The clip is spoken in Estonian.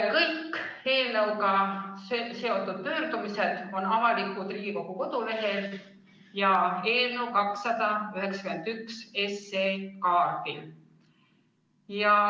Kõik eelnõuga seotud pöördumised on avaldatud Riigikogu kodulehel ja eelnõu 291 kaardil.